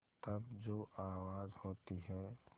तब जो आवाज़ होती है